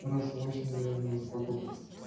раз восемь наверное за покупок